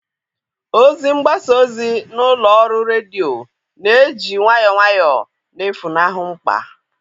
Ozi mgbasa ozi na ụlọ ọrụ redio na-eji nwayọọ nwayọọ na-efunahụ mkpa.